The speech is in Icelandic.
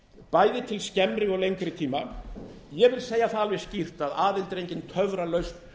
bæði til skemmri og lengri tíma ég vil segja það alveg skýrt að aðild er engin töfralausn